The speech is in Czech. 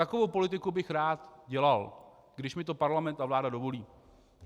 Takovou politiku bych rád dělal, když mi to Parlament a vláda dovolí.